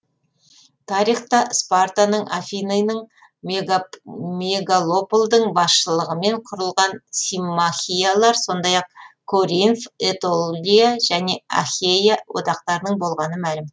тарихта спартаның афинының мегалополдың басшылығымен құрылған симмахиялар сондай ақ коринф этолия және ахейя одақтарының болғаны мәлім